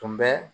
Tun bɛ